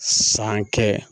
San kɛ